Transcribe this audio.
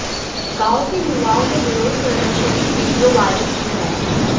गांव के युवाओं ने विरोध प्रदर्शन की वीडियो वायरल की है